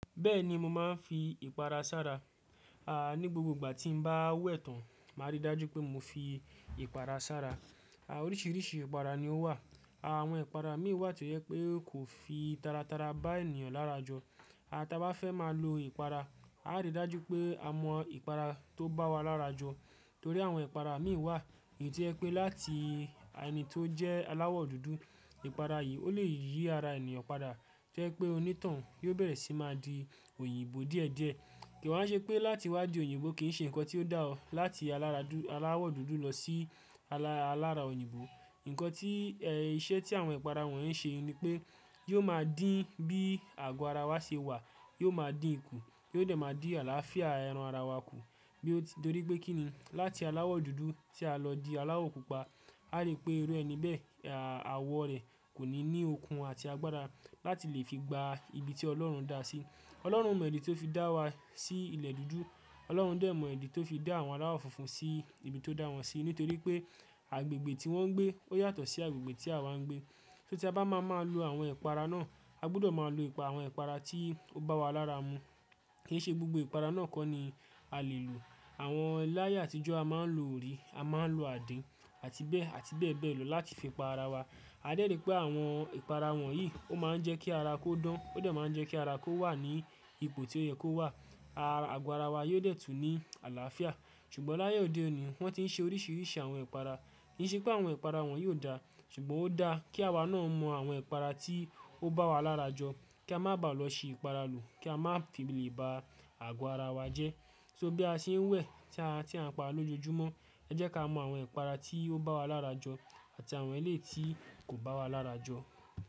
Bẹ́ẹ̀ni mo máa ń fi ìpara sára, a ní gbogbo ìgbà tí mo bá wẹ̀ tán màá rí i dájú pé mo fi ìpara sára. A oríṣìíríṣìí ìpara ni ó wà, àwọn ìpara mìíràn wà tí ó yẹ pé kò fi tara tara bá ènìyàn lára jọ. A tá bá fẹ́ máa lo ìpara, a lè dájú pé a mọ ìpara tó bá wa lára jọ torí àwọn ìpara mìíràn wà èyí tí ẹ pé láti ẹni tó jẹ́ aláwọ̀ dúdú ìpara yìí ó lè yí ara ènìyàn padà, jẹ́ pé onítọ̀hún yóò bẹ̀rẹ̀ sí máa di òyìnbó díẹ̀ díẹ̀. Kìí wọ́n ṣe pé láti wá di òyìnbó kì í ṣe nǹkan tí ó dá ọ́ láti alára dúdú-- aláwọ̀ dúdú lọ sí alára òyìnbó. Ǹkan tí iṣẹ́ tí àwọn ìpara wọ̀n yí ṣe ni pé yóò máa dín bí àgọ́ ara wa ṣe wà, yóò máa dín ikù, yóò dẹ̀ máa dín àlàáfíà ẹran ara wa kù. Bí ó ti-- torí pé kín ni láti aláwọ̀ dúdú tí a lọ di aláwọ̀ pupa, a rí pé irú ẹni bẹ́ẹ̀ àwọ̀ rẹ̀ kò ní ní okun àti agbára láti lè fi gba ibi tí Ọlọ́run dá a sí. Ọlọ́run mọ ìdí tó fi dá wa sí ilẹ̀ dúdú, Ọlọ́run dẹ̀ mọ ìdí tó fi dá àwọn aláwọ̀ funfun sí ibi tó dá wọn sí nítorí pé agbègbè tí wọ́n ń gbé ó yàtọ̀ sí agbègbè tí àwa ń gbé. So tí a bá máa máa lo àwọn ìpara náà, a gbọdọ̀ máa lo àwọn ìpara tí ó bá wa lára mu kì í ṣe gbogbo ìpara náà kọ́ ni a lè lò. Àwọn láyé àtijọ́ a máa ń lo orí, a máa ń lo àdín, àti bẹ́ẹ̀ àti bẹ́ẹ̀ bẹ́ẹ̀ lọ láti fi pa ara wa. A dẹ́rì pé àwọn ìpara wọ̀nyí ó máa ń jẹ́ kí ara kó dán, ó dẹ̀ máa ń jẹ́ kí ara kó wà ní ipò tí ó yẹ kó wà, a àgọ ara wa yóò dẹ̀ tún ní àlàáfíà. Ṣùgbọ́n láyé òde òní wọ́n ti ń ṣe oríṣìíríṣìí àwọn ìpara, kì í ṣe pé àwọn ìpara wọ́n yóò dá, ṣùgbọ́n ó dáa kí àwa náà mọ àwọn ìpara tí ó bá wa lára jọ, kí a má bàá lọ ṣi ìpara lò kí a má fi lè ba àgọ ara wa jẹ́. So bí a ṣe ń wẹ̀, tí a ti ń pa lójojúmọ́, ẹ jẹ́ ká mọ àwọn ìpara tí ó bá wa lára jọ àti àwọn ẹlẹ́ti kò bá wa lára jọ.